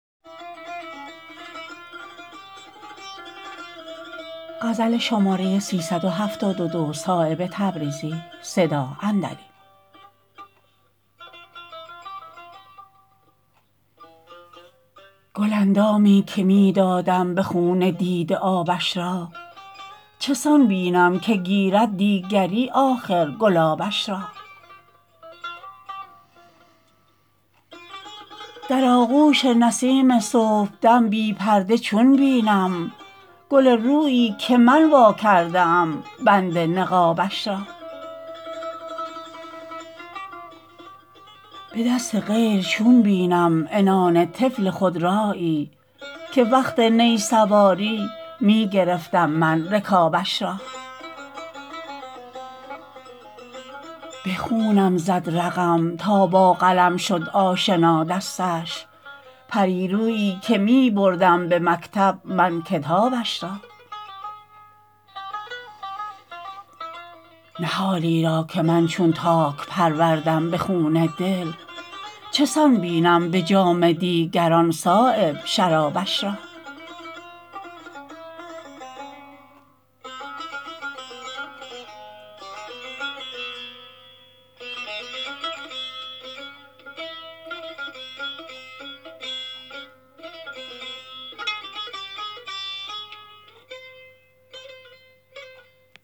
گل اندامی که می دادم به خون دیده آبش را چسان بینم که گیرد دیگری آخر گلابش را در آغوش نسیم صبحدم بی پرده چون بینم گل رویی که من وا کرده ام بند نقابش را به دست غیر چون بینم عنان طفل خودرایی که وقت نی سواری می گرفتم من رکابش را به خونم زد رقم تا با قلم شد آشنا دستش پری رویی که می بردم به مکتب من کتابش را نهالی را که من چون تاک پروردم به خون دل چسان بینم به جام دیگران صایب شرابش را